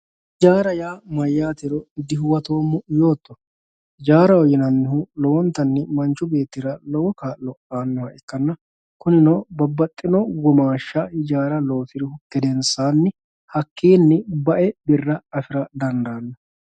ijaara yaa mayaatero dihuwatoommo yooto ijaaraho yinannihu lowontanni manchu beetira lowo kaa'lo aanoha ikkanna kuninopbabbaxino womaasha ijaara loosiri gedensaanni hakkiinni ba'e birra afira dandaanno